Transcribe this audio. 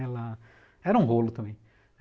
Ela era um rolo também.